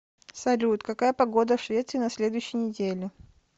салют какая погода в швеции на следующей неделе